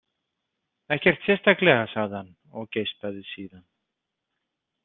Ekkert sérstaklega, sagði hann og geispaði síðan.